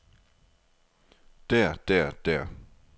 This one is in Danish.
der der der